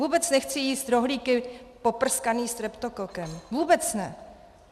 Vůbec nechci jíst rohlíky poprskané streptokokem, vůbec ne.